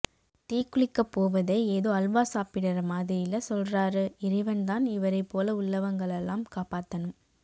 தீ குளிக்க போவதை ஏதோ அல்வா சாப்பிடுற மாதிரி இல்ல சொல்றாரு இறைவன்தான் இவரை போல உள்ளவங்களலாம் காப்பாத்தனும்